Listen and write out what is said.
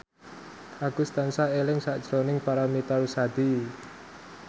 Agus tansah eling sakjroning Paramitha Rusady